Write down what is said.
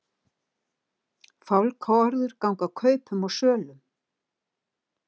Fálkaorður ganga kaupum og sölum